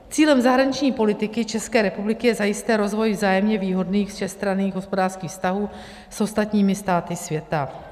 Cílem zahraniční politiky České republiky je zajisté rozvoj vzájemně výhodných všestranných hospodářských vztahů s ostatními státy světa.